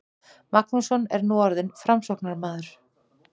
Magnússon er nú orðinn Framsóknarmaður.